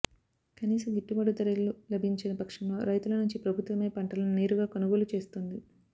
కనీస గిట్టుబాటు ధరలు లభించని పక్షంలో రైతుల నుంచి ప్రభుత్వమే పంటలను నేరుగా కొనుగోలు చేస్తుంది